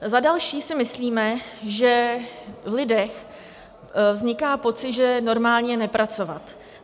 Za další si myslíme, že v lidech vzniká pocit, že normální je nepracovat.